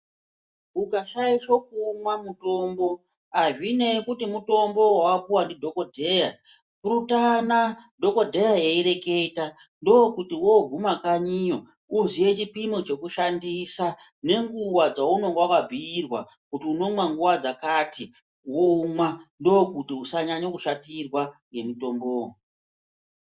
Ukashaisha kuumwa mutombo hazvinei kuti mutombo vavapuva ndidhogodheya purutana dhogodheya eireketa ndokuti voguma kanyiyo voziye chipimo chekushandisa. Nenguva dzaunenge vakabhiirwa unomwa nguva dzakati voumwa ndokuti usanyanya kushatirwa ngemutombovo.